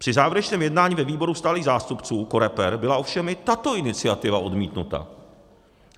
Při závěrečném jednání ve výboru stálých zástupců COREPER byla ovšem i tato iniciativa odmítnuta.